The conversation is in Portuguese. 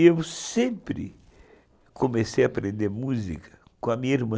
E eu sempre comecei a aprender música com a minha irmã.